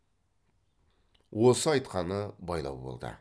осы айтқаны байлау болды